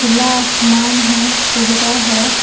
खुला आसमान है कोहरा है।